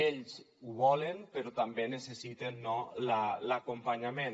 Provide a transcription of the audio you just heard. ells ho volen però també necessiten l’acompanyament